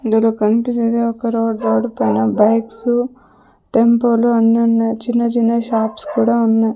ఇందులో కన్పిచ్చేదే ఒక రోడ్డు రోడు పైన బైక్సు టెంపో లు అన్నీ ఉన్నాయి చిన్న-చిన్న షాప్స్ కూడా ఉన్నాయ్.